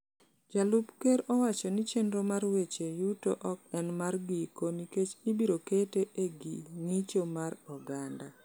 Jalup Ker owacho ni chenro mar weche yuto ok en mar giko nikech ibiro kete e gi ng’icho mar oganda.